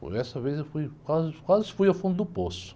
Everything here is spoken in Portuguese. Por essa vez eu fui, quase, quase fui ao fundo do poço.